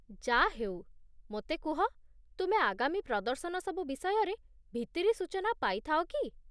ଯା'ହେଉ, ମୋତେ କୁହ, ତୁମେ ଆଗାମୀ ପ୍ରଦର୍ଶନ ସବୁ ବିଷୟରେ ଭିତିରି ସୂଚନା ପାଇଥାଅ କି?